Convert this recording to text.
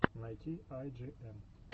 найти ай джи эн